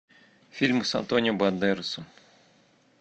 фильм с антонио бандерасом